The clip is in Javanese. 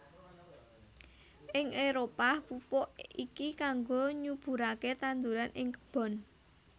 Ing Éropah pupuk iki kangggo nyuburaké tanduran ing kebon